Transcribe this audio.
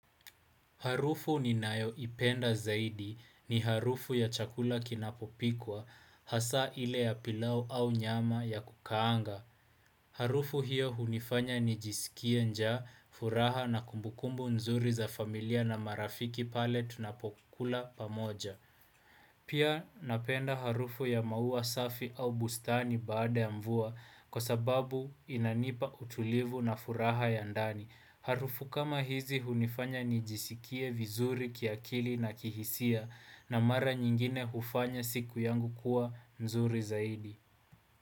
Harufu ninayoipenda zaidi ni harufu ya chakula kinapopikwa hasa ile ya pilau au nyama ya kukaanga. Harufu hiyo hunifanya nijisikie njaa furaha na kumbukumbu nzuri za familia na marafiki pale tunapokula pamoja. Pia napenda harufu ya maua safi au bustani baada ya mvua kwa sababu inanipa utulivu na furaha ya ndani. Harufu kama hizi hunifanya nijisikie vizuri kiakili na kihisia na mara nyingine hufanya siku yangu kuwa nzuri zaidi.